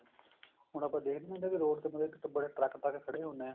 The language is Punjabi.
ਹੁਣ ਆਪਾਂ ਦੇਖਦੇ ਨੀ ਹੁੰਦੇ ਬੀ ਮਤਲਬ road ਤੇ ਬੜੇ ਟਰੱਕ ਟਰੱਕ ਖੜੇ ਹੁੰਦੇ ਆ